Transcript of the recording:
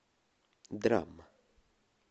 драма